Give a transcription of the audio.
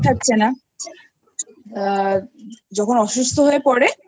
টাকা পাঠাচ্ছে না যখন অসুস্থ হয়ে পরে তখন Immediately